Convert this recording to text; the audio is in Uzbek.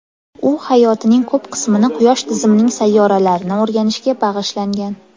U hayotining ko‘p qismini quyosh tizimining sayyoralarini o‘rganishga bag‘ishlangan.